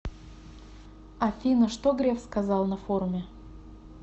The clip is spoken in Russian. афина что греф сказал на форуме